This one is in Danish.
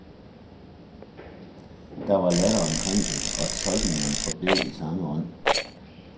Der var latter omkring det og tolkningerne forblev i samme ånd.